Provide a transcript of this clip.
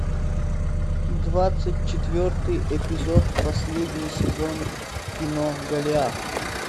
двадцать четвертый эпизод последний сезон кино голиаф